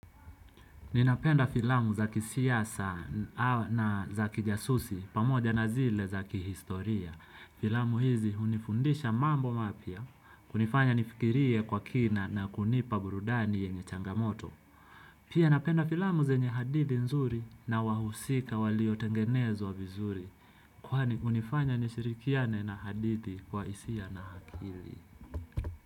Ninapenda filamu zakisiasa na za kijasusi, pamoja na zile zakihistoria. Filamu hizi hunifundisha mambo mapya, hunifanya nifikirie kwa kina na kunipa burudani yenye changamoto. Pia napenda filamu zenye hadithi nzuri na wahusika waliotengenezwa vizuri. Kwani hunifanya nishirikiane na hadithi kwa hisia na akili.